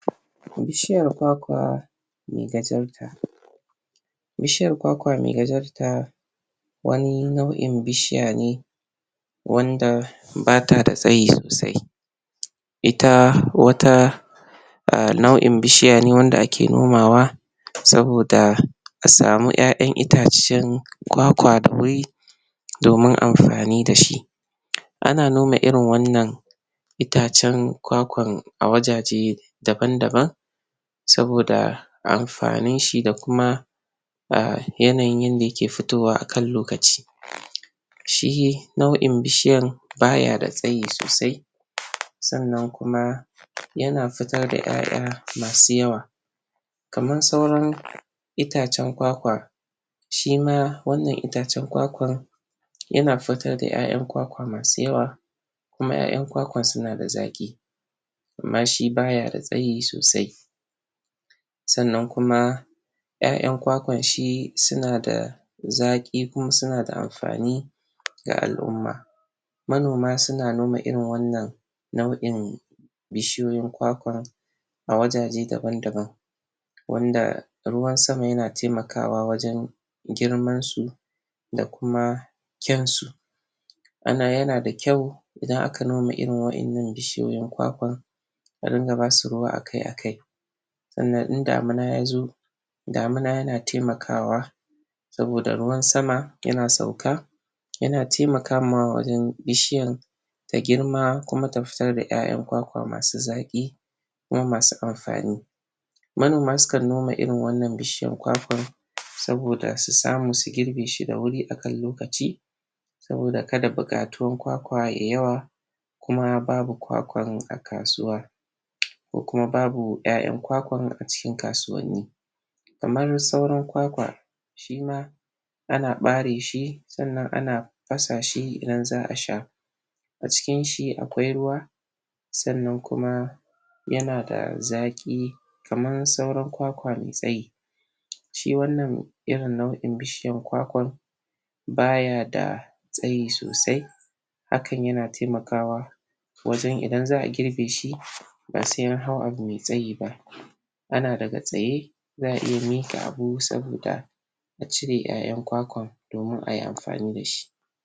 Bishiyar kwakwa mai gajarta Bishiyar kwakwa mai gajarta, wani nau'in bishiya ne wanda ba ta da tsayi sosai. Ita wata ah nau'in bishiya ne wanda ake nomawa saboda a samu ƴaƴan itace kwakwa da wuri domin amfani da shi. Ana noma irin wannan itacen kwakwan a wajaje daban-daban saboda amfanin shi da kuma ah yanayin yanda ya ke fitowa akan lokaci. Shi nau'in bishiyan, ba ya da tsayi sosai. Sanna kuma ya na fitar da ƴaƴa masu yawa kaman sauran itacen kwakwa shi ma wannan itace kwakwan ya na fitar da ƴaƴan kwakwa masu yawa kuma ƴaƴan kwakwa su na da zaƙi amma shi ba ya da tsayi sosai. Sanna kuma ƴaƴan kwakwan shi su na da zaƙi kuma su na amfani na al'umma. Manoma su na noma irin wannan nau'in bishiyoyin kwakwa a wajaje daban-daban wanda ruwan sama ya na taimakawa wajen girman su da kuma kyansu. Ana ya na da kyau idan aka noma irin waƴannan bishiyoyin kwakwan, a dinga ba su ruwa akai-akai. Sannan in damina ya zo damina ya na taimakawa saboda ruwan sama ya na sauka, ya na taimakama wajen bishiyar ta grima kuma ta fitar da ƴaƴan kwakwa masu tsaƙi kuma masu amfani. Manoma suka noma irin wannan bishiyan kwakwa saboda su samu su girbe shi da wuri akan lokaci. Saboda ka da buƙatuwan kwakwa yayi yawa kuma babu kwakwan a kasuwa ko kuma babu ƴaƴan kwakwan a cikin kasuwanni. Kaman sauran kwakwa shi ma ana ɓare shi, sannan ana fasa shi idan za'a sha. A cikin shi akwai ruwa sannan kuma ya na da zaƙi kaman sauran kwakwa mai tsayi. Shi wannan irin nau'in bishiyan kwakwan ba ya da tsayi sosai hakan ya na taimakawa wajen idan za'a girbe shi ba sai an hau abu mai tsayi ba. Ana daga tsaye, za'a iya miƙa abu saboda a cire ƴayan kwakwan ayi amfani da shi.